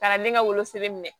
Ka na ne ka wolosɛbɛn minɛ